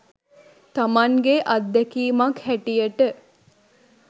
තමන්ගේ අත්දැකීමක් හැටියට.